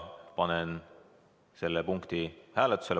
Panen selle eelnõu hääletusele.